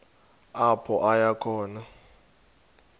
apho aya khona